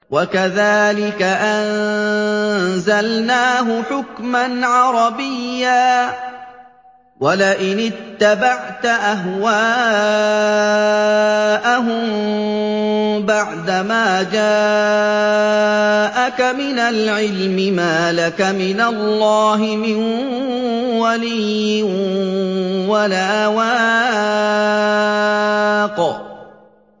وَكَذَٰلِكَ أَنزَلْنَاهُ حُكْمًا عَرَبِيًّا ۚ وَلَئِنِ اتَّبَعْتَ أَهْوَاءَهُم بَعْدَمَا جَاءَكَ مِنَ الْعِلْمِ مَا لَكَ مِنَ اللَّهِ مِن وَلِيٍّ وَلَا وَاقٍ